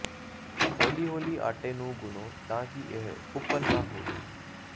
ਹੌਲੀ ਹੌਲੀ ਆਟੇ ਨੂੰ ਗੁਨ੍ਹੋ ਤਾਂ ਕਿ ਇਹ ਓਪਲ ਨਾ ਹੋਵੇ